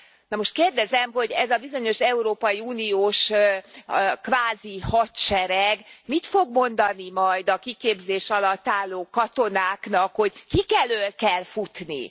Na most kérdezem, hogy ez a bizonyos európai uniós kvázi hadsereg mit fog mondani majd a kiképzés alatt álló katonáknak, hogy kik elől kell futni?